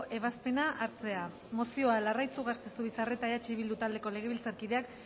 ebazpena hartzea mozioa larraitz ugarte zubizarreta eh bildu taldeko legebiltzarkideak